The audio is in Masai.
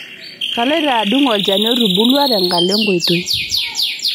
Kaloito adung' olchani otubulua tenkalo enkoitoi.